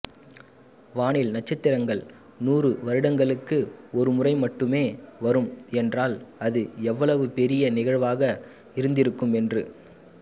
வானில் நட்சத்திரங்கள் நூறு வருடங்களுக்கு ஒருமுறை மட்டுமே வரும் என்றால் அது எவ்வளவுபெரிய நிகழ்வாக இருந்திருக்கும் என்று